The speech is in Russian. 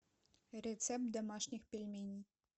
рецепт домашних пельменей